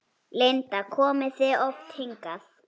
Linda: Komið þið oft hingað?